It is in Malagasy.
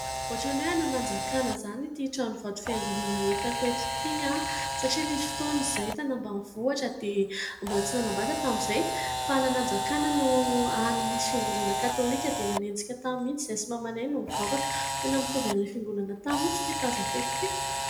Ohatry ny hoe any Nanjakana izany ity tranovato fiangonana hitako eto ity satria nisy fotoana izahay tany ambanivohitra dia, mbola tsy nanambady aho tamin'izay, fa any Nanjakana no hany misy fiangonana katôlika dia nanenjika tany mihitsy izahay sy mamanay no nivavaka. Tena mitovy an'ilay fiangonana tany mihitsy ity tazako eto ity.